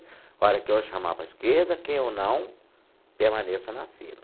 A hora que eu chamar para a esquerda, quem eu não, permaneça na fila.